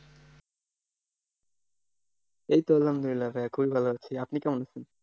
এই তো আলহামদুলিল্লাহ ভাইয়া, খুবই ভালো আছি। আপনি কেমন আছেন?